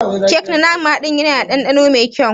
Kek na nama din Yana da dandano Mai kyau?